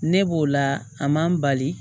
Ne b'o la a man n bali